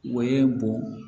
O ye bon